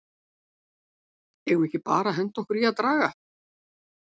Eigum við ekki bara að henda okkur í að draga??